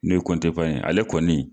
N'o ye ye ale kɔnni